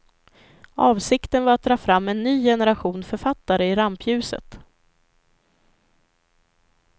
Avsikten var att dra fram en ny generation författare i rampljuset.